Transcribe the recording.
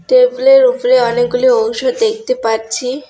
টেবিলের উপরে অনেকগুলো ঔষধ দেখতে পাচ্ছি।